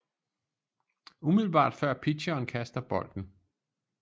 Umiddelbart før pitcheren kaster bolden